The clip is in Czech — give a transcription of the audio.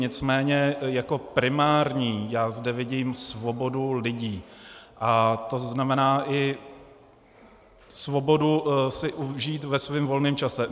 Nicméně jako primární já zde vidím svobodu lidí, a to znamená i svobodu si užít ve svém volném čase.